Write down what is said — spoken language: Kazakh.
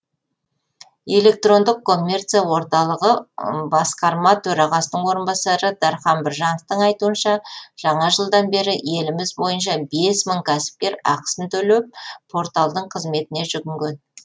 электрондық коммерция орталығы басқарма төрғасының орынбасары дархан біржановтың айтуынша жаңа жылдан бері еліміз бойынша бес мың кәсіпкер ақысын төлеп порталдың қызметіне жүгінген